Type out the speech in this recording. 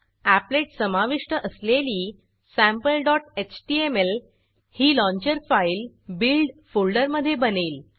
applet समाविष्ट असलेली sampleएचटीएमएल ही लाँचर फाईल बिल्ड फोल्डरमधे बनेल